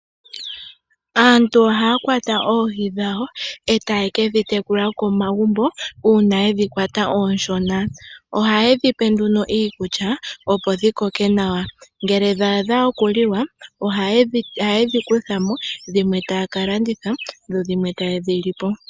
Aantu ohaya kwata oohi dhawo etaye ke dhi tekulila komagumbo uuna yedhi kwata ooshona. Ohaye dhi pe nduno iikulya opo dhi koke nawa, ngele dha adha okuliwa ohaye dhi kuthamo eta ya kalanditha dho dhimwe taye dhi li po.